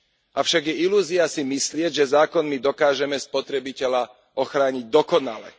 Avšak je ilúzia si myslieť, že zákonmi dokážeme spotrebiteľa ochrániť dokonale.